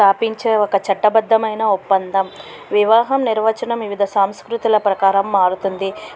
పాటించే ఒక చట్ట బద్దమైన ఒప్పందం. వివాహం నిర్వచనం వివిధ సంస్కృతుల ప్రకారం మారుతుంది.